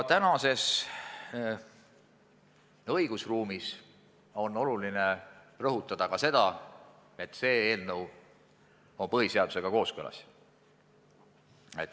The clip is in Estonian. Tänases õigusruumis on oluline rõhutada ka seda, et meie eelnõu on põhiseadusega kooskõlas.